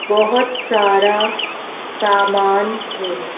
बहुत सारा सामान है।